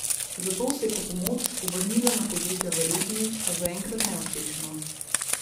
Zato se je po pomoč obrnila na podjetja v regiji, a zaenkrat neuspešno.